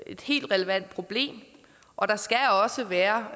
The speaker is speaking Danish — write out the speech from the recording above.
et helt relevant problem og der skal også være